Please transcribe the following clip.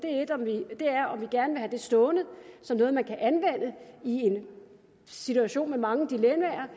er om vi gerne have det stående som noget man kan anvende i en situation med mange dilemmaer